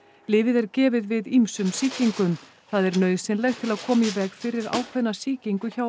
lyfið er gefið við ýmsum sýkingum það er nauðsynlegt til að koma í veg fyrir ákveðna sýkingu hjá